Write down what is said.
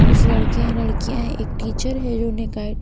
कुछ लड़के हैं लड़कियां हैं एक टीचर है जो उन्हें गाइड --